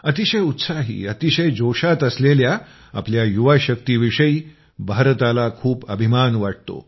अतिशय उत्साही अतिशय जोशात असलेल्या आपल्या युवाशक्तीविषयी भारताला खूप अभिमान वाटतो